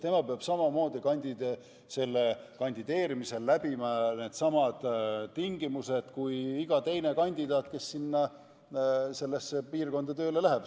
Tema peab samamoodi kandideerimisel täitma needsamad tingimused kui iga teine kandidaat, kes sinna piirkonda tööle läheb.